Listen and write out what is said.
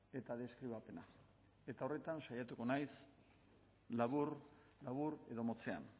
eta deskribapena eta horretan saiatuko naiz labur labur edo motzean